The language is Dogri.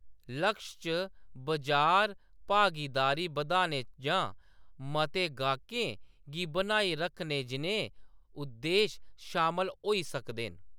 लक्श च बजार भागीदारी बधाने जां मते गाह्‌‌कें गी बनाए रखने जनेह् उद्देश शामल होई सकदे न।